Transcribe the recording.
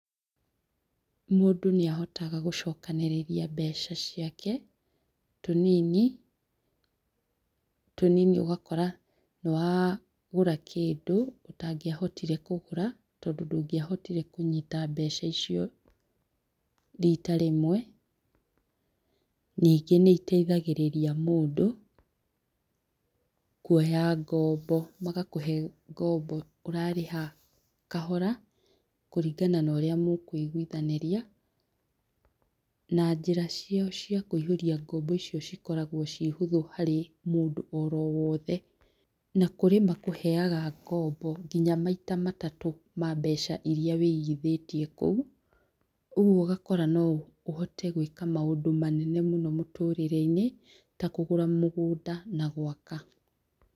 Mũndũ nĩ ahotaga gũcokanĩrĩria mbeca ciake tũnini, tũnini ũgakora nĩ wa gũra kĩndũ ũtangĩahotire kũgũra tondũ ndũngĩahotire kũnyita mbeca icio rita rĩmwe. Ningĩ nĩ itethagĩrĩria mũndũ kuoya ngombo, magakũhe ngombo ũrarĩha kahora kũringana na ũrĩa mũkũiguithanĩria na njĩra ciao cia kũihũria ngombo icio cikoragwo ciĩ hũthũ harĩ mũndũ oro wothe. Na kũrĩ makũheaga ngombo nginya maita matatũ, ma mbeca iria wĩigithĩtie kũu. Ũguo ũgakora no ũhote gwĩka maũndũ manene mũno mũtũrĩre-inĩ ta kũgũra mũgũnda na gwaka.